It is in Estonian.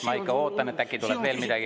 Ma ikka ootan, et äkki tuleb veel midagi.